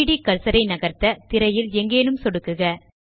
3ட் கர்சர் ஐ நகர்த்த திரையில் எங்கேனும் சொடுக்கவும்